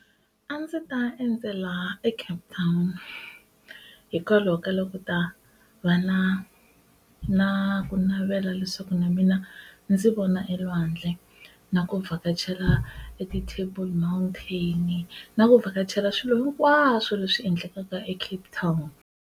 A ndzi ta endzela eCape Town hikwalaho ka loko ku ta va na na ku navela leswaku na mina ndzi vona e lwandle na ku vhakachela e ti table mountain na ku vhakachela swilo hinkwaswo leswi endlekaka eCape Town.